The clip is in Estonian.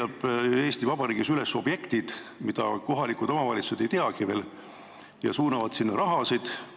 Kes leiab Eesti Vabariigis üles objektid, mida kohalikud omavalitsused veel ei teagi, ja suunab sinna raha?